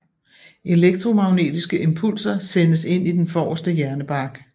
Elektromagnetiske impulser sendes ind i den forreste hjernebark